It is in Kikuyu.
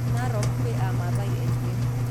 Narok kwĩ amaathai aingĩ